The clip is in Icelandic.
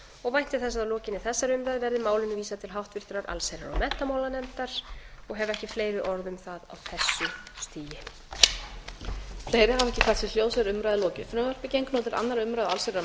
og vænti þess að að lokinni þessari umræðu verði málinu vísað til háttvirtrar allsherjar og menntamálanefndar og hef ekki fleiri orð um það á þessu stigi